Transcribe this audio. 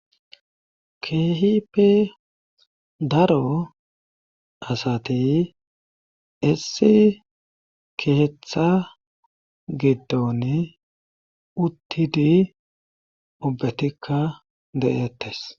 Keehipe daro asati issi keeththa giddon uttidi ubbetikka de'ettes